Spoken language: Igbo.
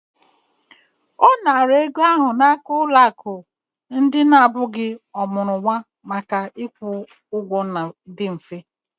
Ọ nara ego ahụ n'aka ụlọ akụ ndị na-abụghị ọmụrụ nwa maka ịkwụ ụgwọ dị mfe.